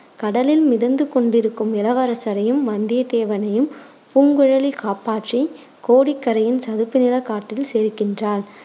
கடலில் மிதந்து கொண்டிருக்கும் இளவரசரையும், வந்தியத்தேவனையும் பூங்குழலி காப்பாற்றி கோடிக்கரையின் சதுப்பு நிலக் காட்டில் சேர்க்கின்றாள்